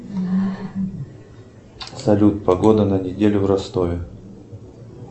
салют погода на неделю в ростове